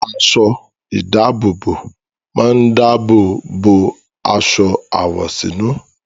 Aṣọ-ìdáàbòbò máa ń dáàbò bo aṣọ àwọ̀sínú.